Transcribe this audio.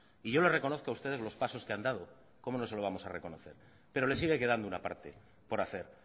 y yo le reconozco a ustedes los pasos que han dado cómo no se lo vamos a reconocer pero le sigue quedando una parte por hacer